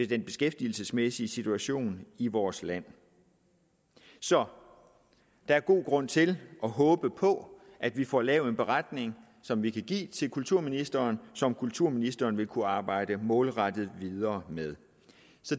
den beskæftigelsesmæssige situation i vores land så der er god grund til at håbe på at vi får lavet en beretning som vi kan give til kulturministeren som kulturministeren vil kunne arbejde målrettet videre med